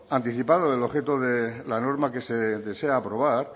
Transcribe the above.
anticipado el objeto de la norma que se desea aprobar